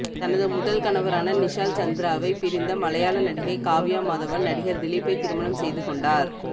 தனது முதல் கணவரான நிஷால் சந்திராவை பிரிந்த மலையாள நடிகை காவ்யா மாதவன் நடிகர் திலீப்பை திருமணம் செய்து கொண்டார்